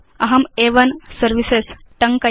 अहं अ1 सर्विसेस् टङ्कयामि